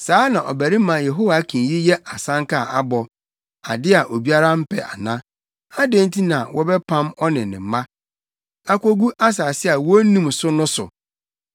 Saa ɔbarima Yehoiakin yi yɛ asɛnka a abɔ ade a obiara mpɛ ana? Adɛn nti na wɔbɛpam ɔne ne mma, akogu asase a wonnim so no so?